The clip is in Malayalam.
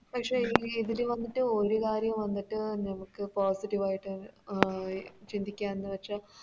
പക്ഷെ ഇ ഇതില് വന്നിട്ട് ഒരു കാര്യം വന്നിട്ട് നമുക്ക് Positive ആയിട്ട് അഹ് ചിന്തിക്കാന്ന് വെച്ചാൽ